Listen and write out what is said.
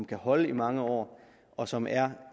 kan holde i mange år og som er